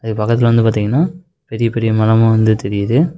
அது பக்கத்துல வந்து பாத்திங்கன்னா பெரிய பெரிய மரமா வந்து தெரியிது.